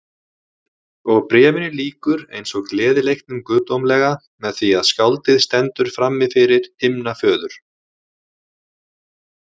Og Bréfinu lýkur eins og Gleðileiknum guðdómlega með því að skáldið stendur frammifyrir himnaföður.